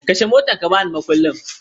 Kashe motar ka ban mukullin